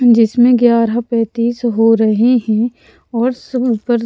जिसमें ग्यारह पैंतीस हो रहे हैं और सब ऊपर --